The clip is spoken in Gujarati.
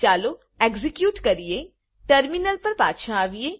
ચાલો એક્ઝેક્યુટ કરીએ ટર્મિનલ પર પાછા આવીએ